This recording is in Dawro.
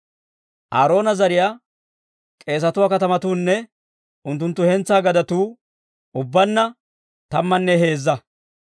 Aaroona zariyaa k'eesatuwaa katamatuunne unttunttu hentsaa gadetuu ubbaanna tammanne heezza.